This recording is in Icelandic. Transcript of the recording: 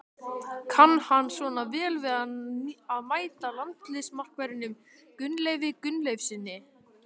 Kann hann svona vel við að mæta landsliðsmarkverðinum Gunnleifi Gunnleifssyni?